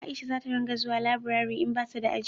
Aisha za ta ringa zuwa laburare in bata da aji